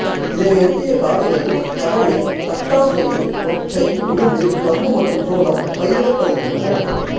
இதனையொட்டிய காடுகளில் கடலை தட்டாம் பயிறு மொச்சை உளுந்து கம்பு மற்றும் சோளம் பயிரிடப்படுகின்றன